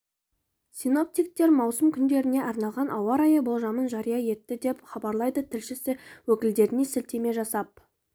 синоптиктер маусым күндеріне арналған ауа райы болжамын жария етті деп хабарлайды тілшісі өкілдеріне сілтеме жасап